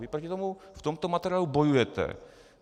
Vy proti tomu v tomto materiálu bojujete.